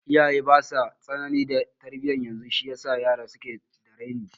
Iyaye basa tsanani da tarbiya yanzu shi yasa yara suke da raini